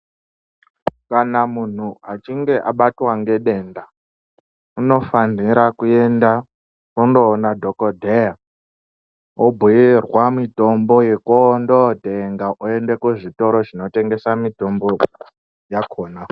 Kana muntu achinge abatwa ngedenda anofanira kuende koona dhokodheya obhuirwa mitombo yekuendootenga kuzvitoro zvinotengesa mitombo yakhona.